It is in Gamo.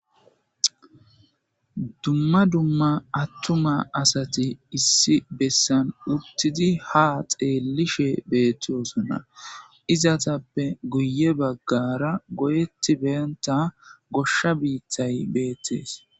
Dumma dumma attuma asati issi bessan uttidi ha xeellishe beettiosonna izatappe guye baggara goyetti benta goshsha biittay beettees..